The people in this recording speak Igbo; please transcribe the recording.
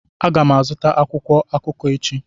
Aga m azụta akwụkwọ akụkọ echi.